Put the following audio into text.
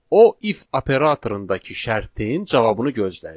O if operatorundakı şərtin cavabını gözləyir.